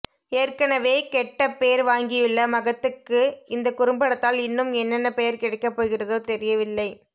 ஏற்கனவே கெட்ட பேர் வாங்கியுள்ள மகத்துக்கு இந்த குறும்படத்தால் இன்னும் என்னென்ன பெயர் கிடைக்க போகிறதோ தெரியவில்லை